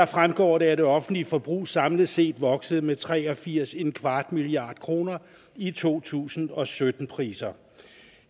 fremgår det at det offentlige forbrug samlet set voksede med 83¼ milliard kroner i to tusind og sytten priser